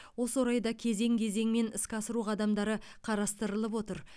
осы орайда кезең кезеңмен іске асыру қадамдары қарыстырылып отыр